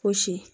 Fosi